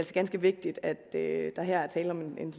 ganske vigtigt at der her er tale om en